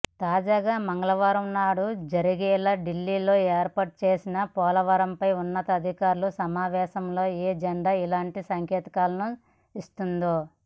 తాజాగా మంగళవారం నాడు జరిగేలా ఢిల్లీలో ఏర్పాటుచేసిన పోలవరంపై ఉన్నతాధికార్ల సమావేశం ఎజెండా ఇలాంటి సంకేతాలనే ఇస్తోంది